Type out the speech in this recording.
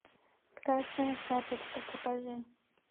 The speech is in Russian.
красная шапочка покажи